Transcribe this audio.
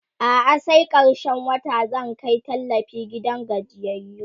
a'a sai karshen wata zan Kai tallafi gidan gajiyayyu